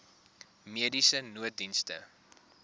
mediese nooddienste